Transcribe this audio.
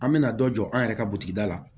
An mɛna dɔ jɔ an yɛrɛ ka da la